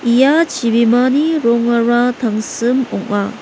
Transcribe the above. ia chibimani rongara tangsim ong·a.